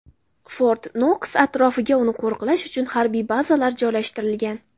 Fort-Noks atrofiga uni qo‘riqlash uchun harbiy bazalar joylashtirilgan.